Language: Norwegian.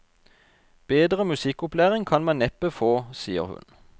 Bedre musikkopplæring kan man neppe få, sier hun.